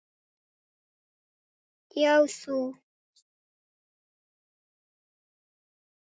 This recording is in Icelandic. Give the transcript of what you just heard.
Já, þú.